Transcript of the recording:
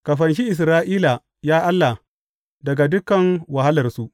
Ka fanshi Isra’ila, ya Allah, daga dukan wahalarsu!